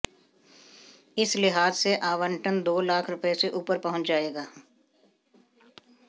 इस लिहाज से आवंटन दो लाख रुपए से ऊपर पहुंच जाएगा